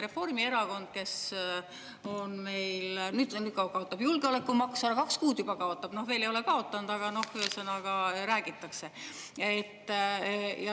Reformierakond, kes nüüd kaotab julgeolekumaksu ära, kaks kuud juba kaotab, veel ei ole kaotanud, aga noh, ühesõnaga, räägitakse.